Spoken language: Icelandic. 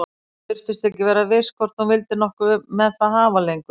Hún virtist ekki vera viss hvort hún vildi nokkuð með það hafa lengur.